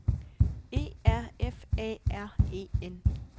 E R F A R E N